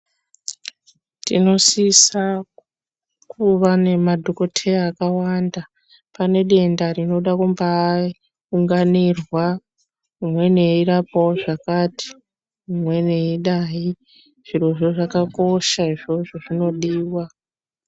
Tinosisa kuva nemadhokodheya akawanda pane denda rinobade kuunganirwa umweni eirapawo zvakati umweni eidai zvirozvo zvakakosha izvozvo zvinodiwa